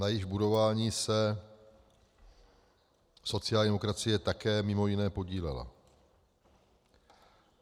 Na jejich budování se sociální demokracie také mimo jiné podílela.